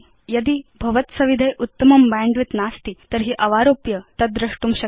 यदि भवत्सविधे उत्तमं बैण्डविड्थ नास्ति तर्हि अवारोप्य तद् द्रष्टुं शक्यम्